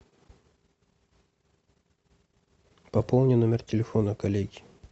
пополни номер телефона коллеги